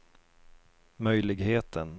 möjligheten